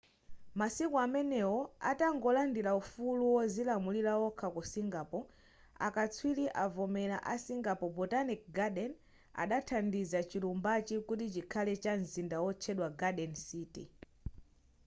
masiku amenewo atangolandila ufulu wozilamulira wokha ku singapore akatswiri azomera a singapore botanic garden adathandiza chilumbachi kuti chikhale ngati mzinda wotchedwa garden city